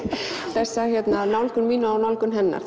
þessa nálgun mína og nálgun hennar